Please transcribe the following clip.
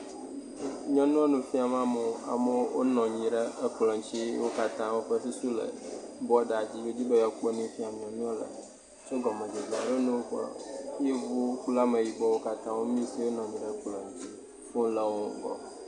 Nyɔnu nu fiam amewo. Amewo wonɔ anyi ɖe ekplɔ dzi eye wo katã woƒe susu le bɔda dzi wodzi be yewoakpɔ nu yi fiam nyɔnua le. Tso gɔmedzedzea me yevuwo kple ameyibɔwo katã wo mis yewo le fɔwola gbɔ.